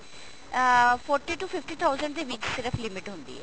uh forty to fifty thousand ਦੇ ਵਿੱਚ ਸਿਰਫ limit ਹੁੰਦੀ ਹੈ